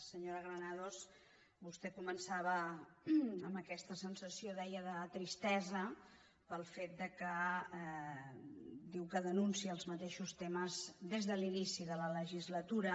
senyora granados vostè començava amb aquesta sensació ho deia de tristesa pel fet que diu que denuncia els mateixos temes des de l’inici de la legislatura